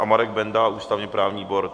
A Marek Benda, ústavně-právní výbor?